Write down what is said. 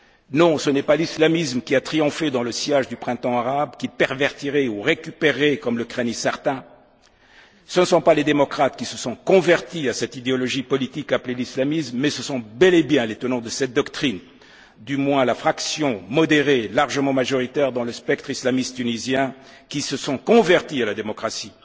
Non, ce n'est pas l'islamisme qui a triomphé dans le sillage du printemps arabe, qu'il pervertirait ou récupérerait, comme le craignent certains, ce ne sont pas les démocrates qui se sont convertis à cette idéologie politique appelée l'islamisme, mais ce sont bel et bien les tenants de cette doctrine du moins la fraction modérée largement majoritaire dans le spectre islamiste tunisien qui se sont convertis à la démocratie.